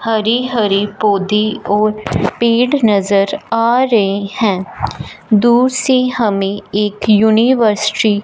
हरी हरी पौधे और पेड़ नजर आ रहे हैं दूर से हमें एक यूनिवर्सिटी --